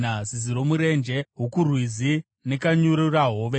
zizi romurenje, hukurwizi nekanyururahove,